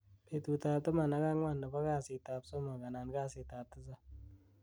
betut ab taman ak ang'wan nebo kasit ab somok anan kasit ab tisab